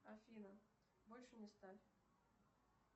афина больше не ставь